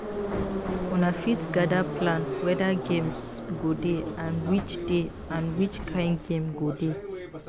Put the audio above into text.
Una fit gather plan weda games go dey and which dey and which kind game go dey